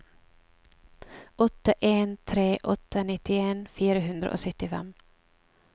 åtte en tre åtte nittien fire hundre og syttifem